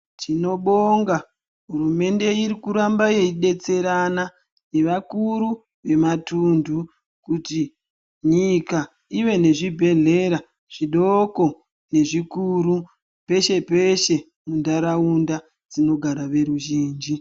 Tinobonga hurumende iri kuramba yeidetserana nevakuru vematuntu kuti nyika ive nezvibhedhlera peshe-peshe panogara veruzvinji.